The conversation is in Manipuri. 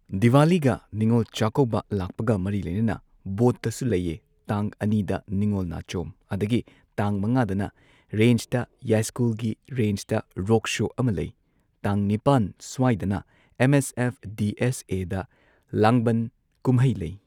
ꯗꯤꯋꯥꯂꯤꯒ ꯅꯤꯉꯣꯜ ꯆꯥꯛꯀꯧꯕ ꯂꯥꯛꯄꯒ ꯃꯔꯤ ꯂꯩꯅꯅ ꯕꯣꯠꯇꯁꯨ ꯂꯩꯌꯦ ꯇꯥꯡ ꯑꯅꯤꯗ ꯅꯤꯉꯣꯜ ꯅꯥꯆꯣꯝ ꯑꯗꯒꯤ ꯇꯥꯡ ꯃꯉꯥꯗꯅ ꯔꯦꯟꯁꯇ ꯌꯥꯏꯁ꯭ꯀꯨꯜꯒꯤ ꯔꯦꯟꯁꯇ ꯔꯣꯛ ꯁꯣ ꯑꯃ ꯂꯩ ꯇꯥꯡ ꯅꯤꯄꯥꯟ ꯁ꯭ꯋꯥꯏꯗꯅ M S F D S A ꯗ ꯂꯥꯡꯕꯟ ꯀꯨꯝꯍꯩ ꯂꯩ꯫